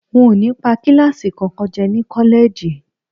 N ò ní pa kíláàsì kankan jẹ́ ní kọ́lẹ́ẹ̀jì